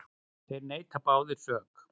Þær neita báðar sök.